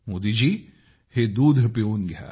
मोदीजी हे दूध पिऊन घ्या